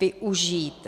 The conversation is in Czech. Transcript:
využít.